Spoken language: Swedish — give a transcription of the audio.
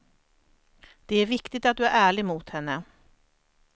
Det är viktigt att du är ärlig mot henne.